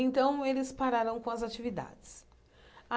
Então, eles pararam com as atividades.